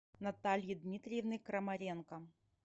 натальи дмитриевны крамаренко